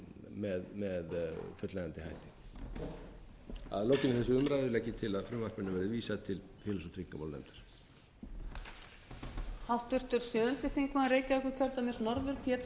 með fullnægjandi hætti að lokinni þessari umræðu legg ég til að frumvarpinu verði vísað til félags og tryggingamálanefndar